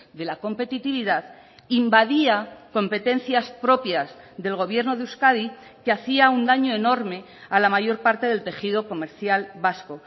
de la competitividad invadía competencias propias del gobierno de euskadi que hacia un daño enorme a la mayor parte del tejido comercial vasco